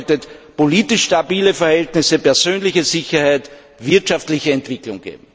Das bedeutet politisch stabile Verhältnisse, persönliche Sicherheit, wirtschaftliche Entwicklung.